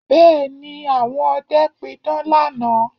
Bẹ́ẹ̀ ni, àwọn ọdẹ pidán lánàá